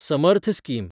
Samarth scheme